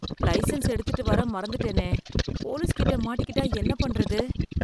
Licence எடுத்துட்டு வர மறந்துட்டேனே போலீஸ் கிட்ட மாட்டிகிட்டா என்ன பண்றது?